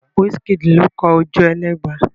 Wísííkìdì ló kọ Ojúẹlẹ́gba.